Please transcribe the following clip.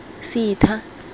setha